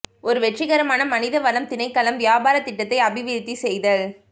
ஒரு வெற்றிகரமான மனித வளம் திணைக்களம் வியாபாரத் திட்டத்தை அபிவிருத்தி செய்தல்